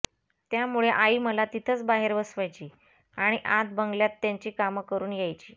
त्यामुळे आई मला तिथंच बाहेर बसवायची आणि आत बंगल्यात त्यांची काम करून यायची